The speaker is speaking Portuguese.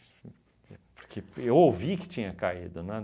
porque eu ouvi que tinha caído, né?